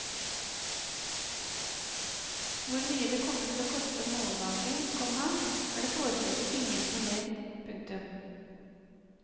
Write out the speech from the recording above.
Hvor mye det kommer til å koste mållaget, komma er det foreløpig ingen som vet. punktum